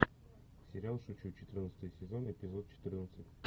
сериал шучу четырнадцатый сезон эпизод четырнадцать